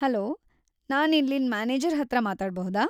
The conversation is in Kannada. ಹಲೋ, ನಾನ್ ಇಲ್ಲಿನ್ ಮ್ಯಾನೇಜರ್‌ ಹತ್ರ ಮಾತಾಡ್ಬಹುದಾ?